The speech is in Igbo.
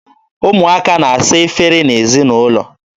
Ụmụaka na-asa efere n'ezinaụlọ.